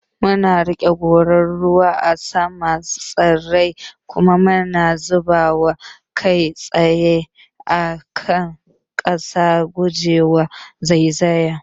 Muna riƙe gorar ruwa a saman tsirrai kuma mu zuba ruwa kai tsaye a kan ƙasa, guje wa zaizaya.